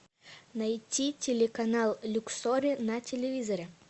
найти телеканал люксори на телевизоре